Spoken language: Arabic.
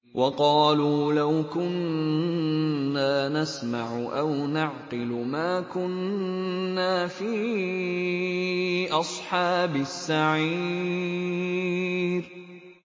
وَقَالُوا لَوْ كُنَّا نَسْمَعُ أَوْ نَعْقِلُ مَا كُنَّا فِي أَصْحَابِ السَّعِيرِ